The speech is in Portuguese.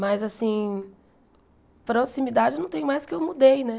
Mas assim, proximidade não tem mais porque eu mudei, né?